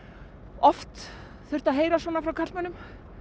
oft þurft að heyra svona frá karlmönnum